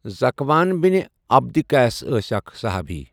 ذکوان بن عبدقیس ٲسؠ اَکھ صُحابی۔